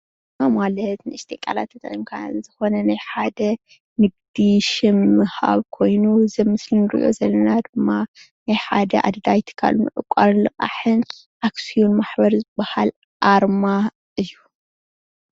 አርማ ማለት ን እሽተን ቃላት ተጠቂምካ ዝኾነ ናይ ሓደ ንግዲ ሽም ኮይኑ እዚ አብ ምስሊ ንሪኦ ዘለና ናይ ሓደ ኣድላዪ ዕቋርን ልቋሕን አክስዮን ማሕበር ዝበሃል አርማ እዪ።